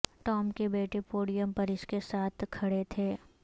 Tom کے بیٹے podium پر اس کے ساتھ کھڑے تھے